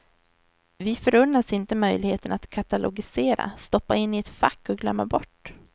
Vi förunnas inte möjligheten att katalogisera, stoppa in i ett fack och glömma bort.